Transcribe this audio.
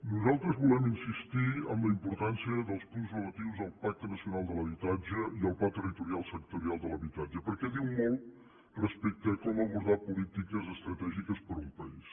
nosaltres volem insistir en la importància dels punts relatius al pacte nacional de l’habitatge i al pla territorial sectorial de l’habitatge perquè diu molt respecte a com abordar polítiques estratègiques per un país